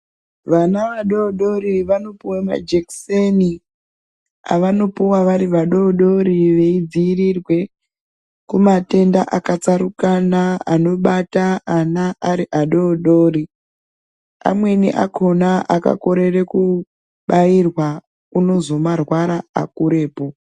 Vana vadodori vanopuwa majekiseni avanopuwa vari vadodori veidzirirwe kumatenda akatsarukana anobata ana ari adodori amweni akona akakorere kubairwa unozo marwara akurepo.